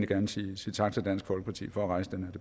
gerne sige tak til dansk folkeparti for at rejse den